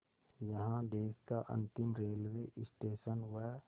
यहाँ देश का अंतिम रेलवे स्टेशन व